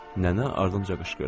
Nənə ardınca qışqırdı.